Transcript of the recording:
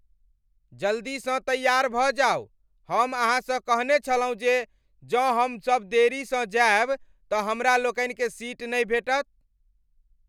जल्दीसँ तैयार भऽ जाउ! हम अहाँसँ कहने छलहुँ जे जौं हम सब देरी सँ जाएब तऽ हमरा लोकनिकें सीट नहि भेटत।